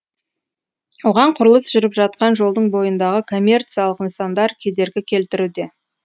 оған құрылыс жүріп жатқан жолдың бойындағы коммерциялық нысандар кедергі келтіруде